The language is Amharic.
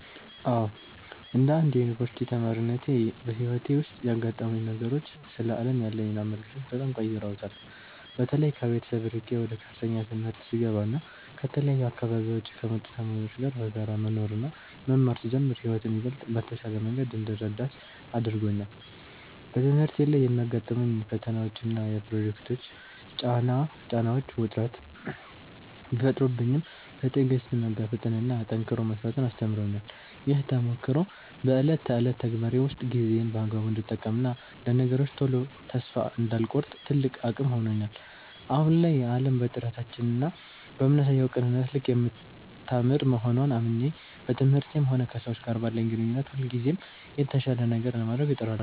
አዎ፣ እንደ አንድ የዩኒቨርሲቲ ተማሪነቴ በሕይወቴ ውስጥ ያጋጠሙኝ ነገሮች ስለ ዓለም ያለኝን አመለካከት በጣም ቀይረውታል። በተለይ ከቤተሰብ ርቄ ወደ ከፍተኛ ትምህርት ስገባና ከተለያዩ አካባቢዎች ከመጡ ተማሪዎች ጋር በጋራ መኖርና መማር ስጀምር ሕይወትን ይበልጥ በተሻለ መንገድ እንድረዳት አድርጎኛል። በትምህርቴ ላይ የሚያጋጥሙኝ ፈተናዎችና የፕሮጀክት ጫናዎች ውጥረት ቢፈጥሩብኝም፣ በትዕግሥት መጋፈጥንና ጠንክሮ መሥራትን አስተምረውኛል። ይህ ተሞክሮ በዕለት ተዕለት ተግባሬ ውስጥ ጊዜዬን በአግባቡ እንድጠቀምና ለነገሮች ቶሎ ተስፋ እንዳልቆርጥ ትልቅ አቅም ሆኖኛል። አሁን ላይ ዓለም በጥረታችንና በምናሳየው ቅንነት ልክ የምታምር መሆንዋን አምኜ፣ በትምህርቴም ሆነ ከሰዎች ጋር ባለኝ ግንኙነት ሁልጊዜም የተሻለ ነገር ለማድረግ እጥራለሁ።